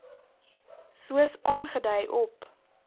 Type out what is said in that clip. soos aangedui op